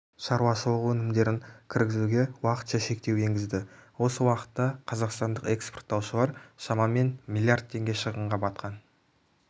шаруашылығы өнімдерін кіргізуге уақытша шектеу енгізді осы уақытта қазақстандық экспорттаушылар шамамен млрд теңге шығынға батқан